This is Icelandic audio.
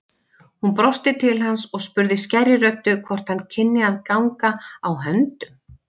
Hún brosti til hans og spurði skærri röddu hvort hann kynni að ganga á höndum.